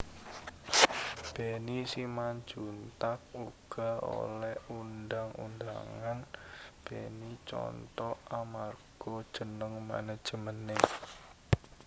Benny Simanjuntak uga oleh undhang undhangan Benny Contoh amarga jeneng manajemené